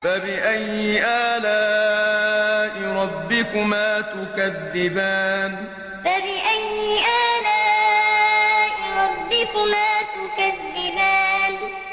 فَبِأَيِّ آلَاءِ رَبِّكُمَا تُكَذِّبَانِ فَبِأَيِّ آلَاءِ رَبِّكُمَا تُكَذِّبَانِ